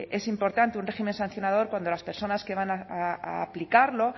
es importante un régimen sancionador cuando las personas que van a aplicarlo